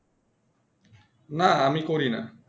না আমি করি না